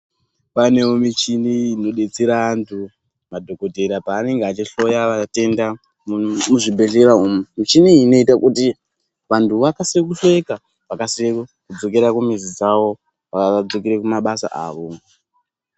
Panewo michini inodetsera antu madhokotera paanenge achihloya vatenda muzvi bhehlera umu. michini iyi inoita kuti vantu vakasire kuhloyeka vakasire kudzokera kumizi dzavo vadzokere kumabasa avo.